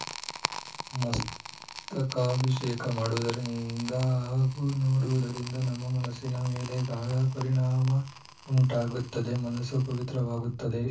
ಮಸ್ತಕಾಭಿಷೇಕ ಮಾಡುವುದರಿಂದ ಹಾಗೂ ನೋಡುವುದರಿಂದ ನಮ್ಮ ಮನಸ್ಸಿನ ಮೇಲೆ ಗಾಢ ಪರಿಣಾಮ ಉಂಟಾಗುತ್ತದೆ ಮನಸ್ಸು ಪವಿತ್ರವಾಗುತ್ತದೆ